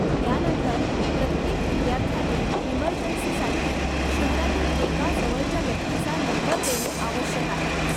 त्यानंतर, प्रत्येक विद्यार्थ्याने इमर्जन्सीसाठी शहरातील एका जवळच्या व्यक्तीचा नंबर देणे आवश्यक आहे.